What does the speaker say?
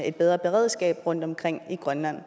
et bedre beredskab rundtomkring i grønland